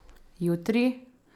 Jutri?